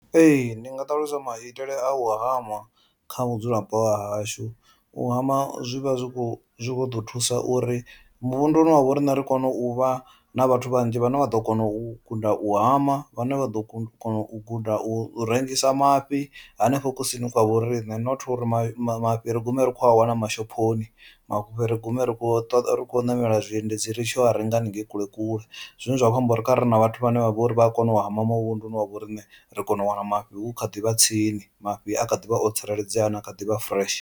Ee, ndi nga ṱalusa maitele a u hama kha vhudzulapo vha hashu u hama zwi vha zwi kho zwi kho ḓo thusa uri muvhunduni wavho riṋe ri kone u vha na vhathu vhanzhi vhane vha ḓo kona u guda u hama, vhane vha ḓo kona u guda u rengisa mafhi henefho kusini kwa vho riṋe, not uri mafhi ri gume ri khou a wana mashophoni mafhi ri gume ri khou ri khou namela zwiendedzi ri tshi ya a renga haningei kule kule. Zwine zwa kho amba uri kha ri ri na vhathu vhane vha vho ri vha a kona u hama muvhunduni wavho riṋe ri kone u wana mafhi hu kha ḓivha tsini mafhi a kha ḓi vha o tsireledzea ana a kha ḓivha fureshe.